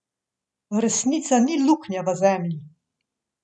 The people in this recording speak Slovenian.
Resnica ni luknja v zemlji.